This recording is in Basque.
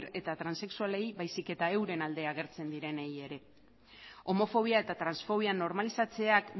queer eta transexualei baizik eta euren alde agertzen direnei ere homofobia eta transfobia normalizatzeak